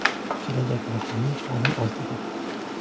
Kelajak raqamli ta’lim ortida.